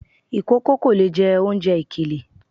Ìkòkò kò lè jẹ oúnjẹ ìkèlè.